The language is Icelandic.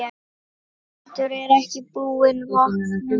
Baldur er ekki búinn vopnum.